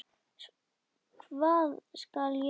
Hvað skal ég vinna?